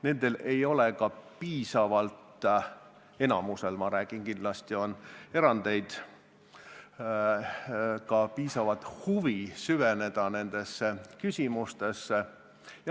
Nendel ei ole piisavat huvi – ma räägin enamikust, kindlasti on erandeid – süveneda nendesse küsimustesse.